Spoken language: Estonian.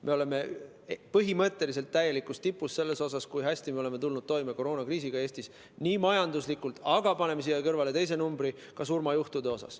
Me oleme põhimõtteliselt täielikus tipus selle poolest, kui hästi me oleme tulnud Eestis toime koroonakriisiga majanduslikult, aga ka surmajuhtude arvu mõttes.